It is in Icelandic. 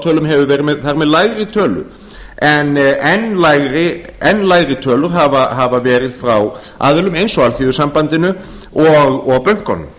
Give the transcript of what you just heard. spátölum hefur verið þar með lægri tölu en enn lægri tölur hafa verið frá aðilum eins og alþýðusambandinu og bönkunum